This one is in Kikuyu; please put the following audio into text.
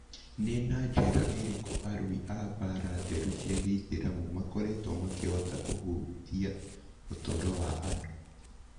Nĩ na njĩra ĩrĩkũ arui a mbaara theru cia gĩithiramu makoretwo makĩhota kũhutia ũtũũro wa andũ?